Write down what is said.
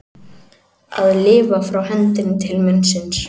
Að lifa frá hendinni til munnsins